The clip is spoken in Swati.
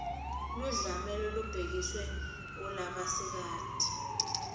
ludlame lolubhekiswe kulabasikati